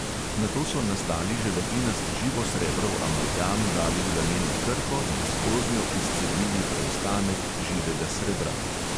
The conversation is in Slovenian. Nato so nastali želatinast živosrebrov amalgam dali v laneno krpo in skoznjo izcedili preostanek živega srebra.